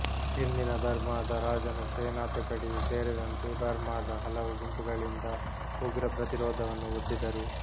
ಹಿಂದಿನ ಬರ್ಮಾದ ರಾಜನ ಸೇನಾ ತುಕಡಿಯೂ ಸೇರಿದಂತೆ ಬರ್ಮಾದ ಹಲವು ಗುಂಪುಗಳಿಂದ ಉಗ್ರ ಪ್ರತಿರೋಧವನ್ನು ಒಡ್ಡಿದರು